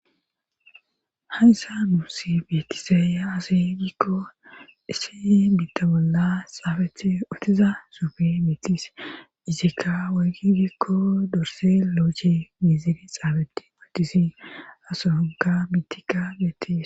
hayssa nuus beetisaaya asi gikko ishi bitta bolla xaafethi ootiza sufi mitis isikka woygi gikko dorse loochi miiziri xaabetti matisi asoonka mitika betis